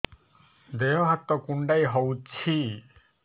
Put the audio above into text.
ଦେହ ହାତ କୁଣ୍ଡାଇ ହଉଛି